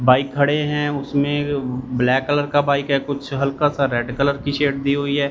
Bike खड़े हैं उसमें ब्लैक कलर का बाइक है कुछ हल्का सा रेड कलर की शेड दी हुई हैं।